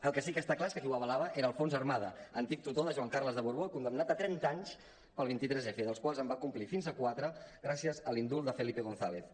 el que sí que està clar és que qui ho avalava era alfons armada antic tutor de joan carles de borbó condemnat a trenta anys pel vint tres f dels quals en va complir fins a quatre gràcies a l’indult de felipe gonzález